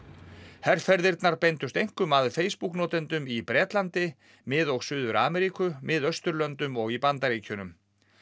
herferðirnar beindust einkum að Facebook notendum í Bretlandi Mið og Suður Ameríku Miðausturlöndum og í Bandaríkjunum